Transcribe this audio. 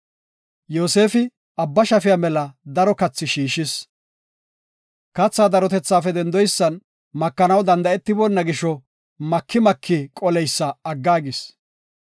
Yoosefi abba shafiya mela daro katha shiishis. Katha darotethaafe dendoysan makanaw danda7etibona gisho, maki maki qoleysa aggaagis.